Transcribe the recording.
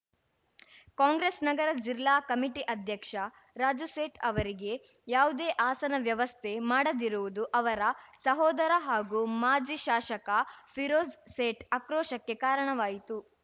ಕಾಂಗ್ರೆಸ್‌ ನಗರ ಜಿಲ್ಲಾ ಕಮಿಟಿ ಅಧ್ಯಕ್ಷ ರಾಜು ಸೇಠ್‌ ಅವರಿಗೆ ಯಾವುದೇ ಆಸನ ವ್ಯವಸ್ಥೆ ಮಾಡದಿರುವುದು ಅವರ ಸಹೋದರ ಹಾಗೂ ಮಾಜಿ ಶಾಸಕ ಫಿರೋಜ್‌ ಸೇಠ್‌ ಆಕ್ರೋಶಕ್ಕೆ ಕಾರಣವಾಯಿತು